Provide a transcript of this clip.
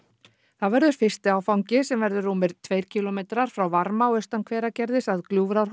það verður fyrsti áfangi sem verður rúmir tveir kílómetrar frá Varmá austan Hveragerðis að